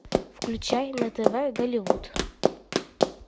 включай на тв голливуд